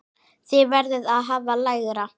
Þið verðið að hafa lægra.